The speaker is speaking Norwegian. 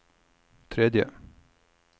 tredje